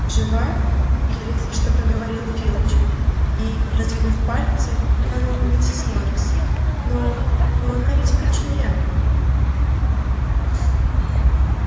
жива еле слышно проговорил филч и раздвинув пальцы глянул на миссис норрис но но она ведь окоченела